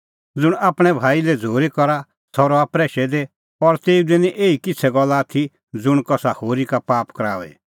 ज़ुंण आपणैं भाई लै झ़ूरी करा सह रहा प्रैशै दी और तेऊ दी निं एही किछ़ै गल्ल आथी ज़ुंण कसा होरी का पाप कराओए